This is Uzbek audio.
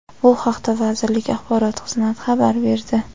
Bu haqda vazirlik Axborot xizmati xabar berdi.